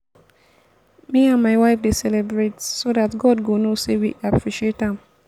me and my wife dey celebrate so dat god go know say we appreciate am